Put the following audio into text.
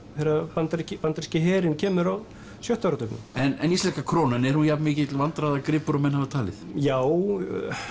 þegar bandaríski bandaríski herinn kemur á sjötta áratugnum en íslenska krónan er hún jafn mikill vandræðagripur og menn hafa talið já